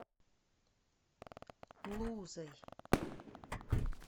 лузой